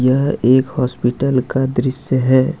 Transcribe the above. यह एक हॉस्पिटल का दृश्य है।